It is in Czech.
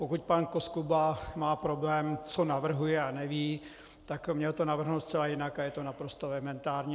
Pokud pan Koskuba má problém, co navrhuje a neví, tak měl to navrhnout zcela jinak a je to naprosto elementární.